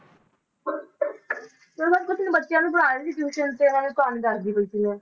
ਮੈਂ ਬਸ ਕੁਛ ਨੀ ਬੱਚਿਆਂ ਨੂੰ ਪੜ੍ਹਾ ਰਹੀ ਸੀ tuition ਤੇ ਇਹਨਾਂ ਨੂੰ ਕਹਾਣੀ ਦੱਸਦੀ ਪਈ ਸੀ ਮੈਂ